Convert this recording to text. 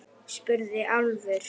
spurði Álfur.